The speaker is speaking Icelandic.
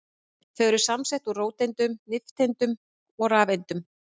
Þau eru samsett úr róteindum, nifteindum og rafeindum.